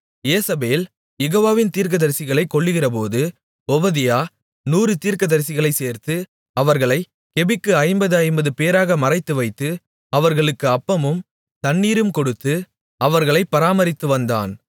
யேசபேல் யெகோவாவின் தீர்க்கதரிசிகளைக் கொல்லுகிறபோது ஒபதியா நூறு தீர்க்கதரிசிகளைச் சேர்த்து அவர்களைக் கெபிக்கு ஐம்பது ஐம்பது பேராக மறைத்துவைத்து அவர்களுக்கு அப்பமும் தண்ணீரும் கொடுத்து அவர்களைப் பராமரித்துவந்தான்